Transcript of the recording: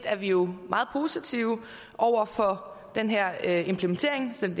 er vi jo meget positive over for den her implementering som